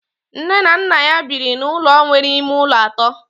Nne na nna ya biri n'ụlọ nwere ime ụlọ atọ